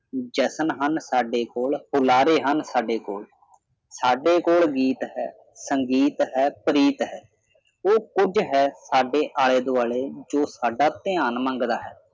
ਜਸ਼ਨ ਹਨ ਸਾਡੇ ਕੋਲ ਬੁਲਾਰੇ ਹਨ ਸਾਡੇ ਕੋਲ ਸਾਡੇ ਕੋਲ ਗੀਤ ਹੈ ਸੰਗੀਤ ਹੈ ਪ੍ਰੀਤ ਹੈ ਉਹ ਕੁਝ ਹੈ ਸਾਡੇ ਆਲੇ ਦੁਆਲੇ ਜੋ ਸਾਡਾ ਧਿਆਨ ਮੰਗਦਾ ਹੈ